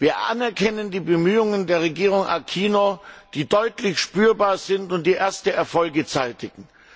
Wir erkennen die Bemühungen der Regierung Aquino an, die deutlich spürbar sind und die erste Erfolge zeitigen.